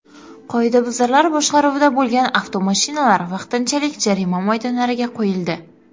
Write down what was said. Qoidabuzarlar boshqaruvida bo‘lgan avtomashinalar vaqtinchalik jarima maydonlariga qo‘yildi.